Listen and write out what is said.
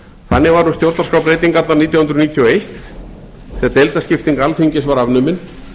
þannig var um stjórnarskrárbreytingarnar nítján hundruð níutíu og eitt þegar deildaskipting alþingis var afnumin